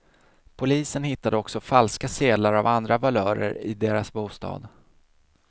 Polisen hittade också falska sedlar av andra valörer i deras bostad.